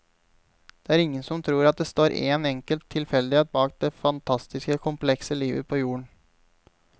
Det er ingen som tror at det står én enkelt tilfeldighet bak det fantastiske komplekse livet på jorden.